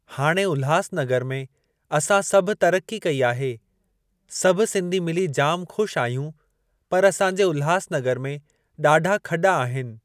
हाणे उल्हासनगर में असां सभु तरक़ी कई आहे। सभु सिंधी मिली जामु ख़ुशि आहियूं पर असां जे उल्हासनगर में ॾाढा खॾा आहिनि।